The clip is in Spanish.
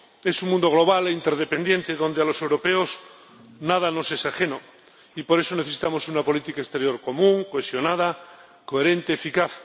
Es un mundo global e interdependiente, en el que a los europeos nada nos es ajeno, y por eso necesitamos una política exterior común, cohesionada, coherente, eficaz.